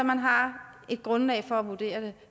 man har et grundlag for at vurdere det